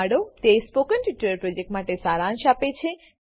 તે spoken tutorial પ્રોજેક્ટનો સારાંશ આપે છે